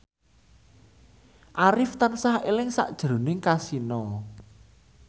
Arif tansah eling sakjroning Kasino